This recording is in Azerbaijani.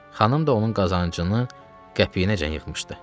Xanım da onun qazancını qəpiyinəcən yığmışdı.